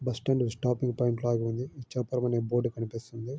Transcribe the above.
Bus stand stopping point లాగా ఉంది. ఇచ్చాపురం అన్ని బోర్డు కనిపిస్తున్నది .